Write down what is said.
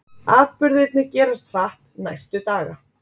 Atburðirnir gerast hratt næstu daga.